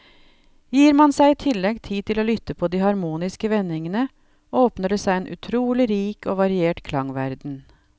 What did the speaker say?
Gir man seg i tillegg tid til å lytte på de harmoniske vendingene, åpner det seg en utrolig rik og variert klangverden.